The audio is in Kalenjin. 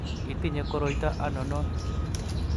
itinye koroito anonon?